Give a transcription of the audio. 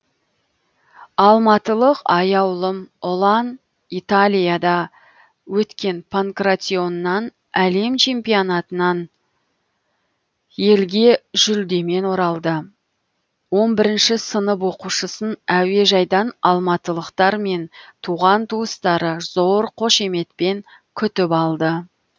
алматылық аяулым ұлан италияда өткен панкратионнан әлем чемпионатынан елге жүлдемен оралды он бірінші сынып оқушысын әуежайдан алматылықтар мен туған туыстары зор қошеметпен күтіп алды